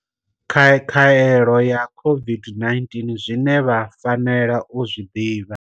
Khaelo ya COVID-19 zwine vha fanela u zwi ḓivha.